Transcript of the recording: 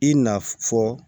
I na fɔ